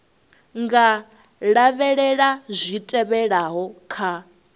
nga lavhelela zwi tevhelaho kha